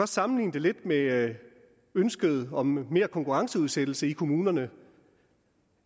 sammenligne det lidt med ønsket om mere konkurrenceudsættelse i kommunerne